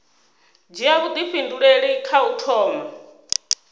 dzhia vhuifhinduleli kha u thoma